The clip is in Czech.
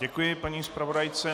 Děkuji paní zpravodajce.